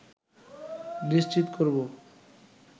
নিশ্চিত করবো